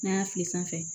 N'an y'a fili sanfɛ